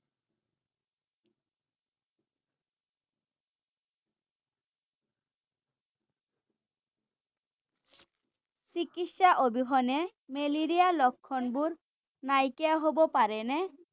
চিকিৎসাৰ অবিহনে মেলেৰিয়াৰ লক্ষণবোৰ নাইকিয়া হ’ব পাৰেনে?